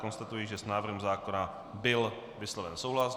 Konstatuji, že s návrhem zákona byl vysloven souhlas.